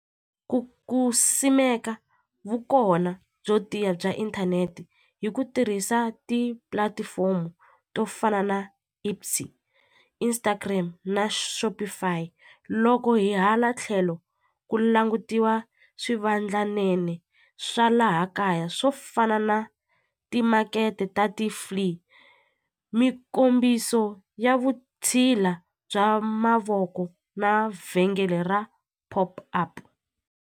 Ku ku simeka vu kona byo tiya bya inthanete hi ku tirhisa ti-platform to fana na Instagram na Shopify loko hi hala tlhelo ku langutiwa swivandlanene swa laha kaya swo fana na timakete ta ti-flee mikombiso ya vusthila bya mavoko na vhengele ra pop-up.